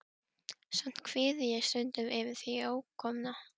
Samt kvíði ég stundum fyrir því ókomna.